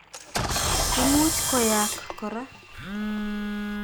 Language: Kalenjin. Imuch koyaak kora.